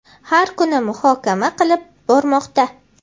har kuni muhokama qilib bormoqda.